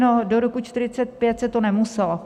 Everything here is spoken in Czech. No, do roku 1945 se to nemuselo.